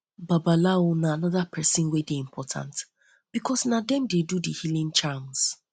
babalawo na anoda person wey dey important because na dem dey do the healing charms